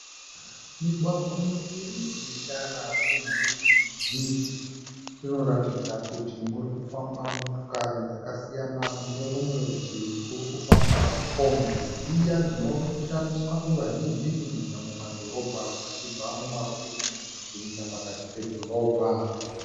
Migwagwa miviri ine tara iri mhiri ne mhiri. Inoratidza kuti murikufamba motokari dzakasiyana. Kunerumwe rutivi kuri kufamba kombi dziya dzinoshandiswa nevazhinji kunyanya muma dhorobha vachibva muma rokesheni vachienda pakati pedhorobha.